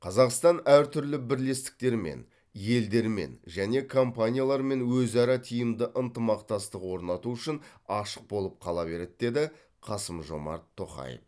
қазақстан әртүрлі бірлестіктермен елдермен және компаниялармен өзара тиімді ынтымақтастық орнату үшін ашық болып қала береді деді қасым жомарт тоқаев